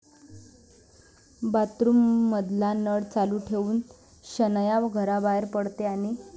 बाथरूममधला नळ चालू ठेवून शनाया घराबाहेर पडते आणि...